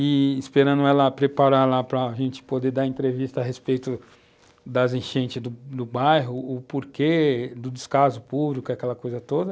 e esperando ela preparar para a gente poder dar entrevista a respeito das enchentes do bairro, o porquê do descaso público e aquela coisa toda.